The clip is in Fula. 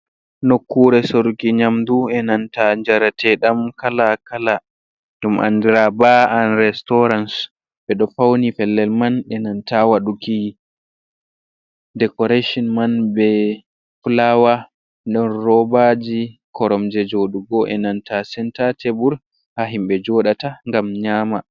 Nokkure sorki nyamdu e nanta njarateɗam kala kala, ɗum andira ba an restauran ɓe ɗo fauni fellel man e nanta waduki decoration man be fulawa, ɗon robaji koromje jodugo, e nanta senta tebur ha himɓe joɗata ngam nyama.